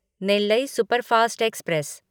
Nellai superfast express